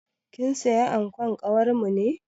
Kin siya ankon kawarmu ne?